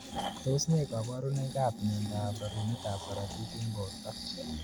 Tos ne kabarunoik ab mnendo ab rerunet ab karatik eng borto.